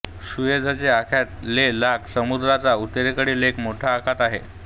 सुएझचे आखात हे लाल समुद्राच्या उत्तरेकडील एक मोठे आखात आहे